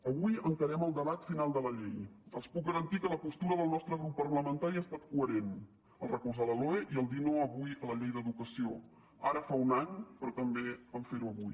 avui encararem el debat final de la llei els puc garantir que la postura del nostre grup parlamentari ha estat coherent a recolzar la loe i a dir no avui a la llei d’educació ara fa un any però també a ferho avui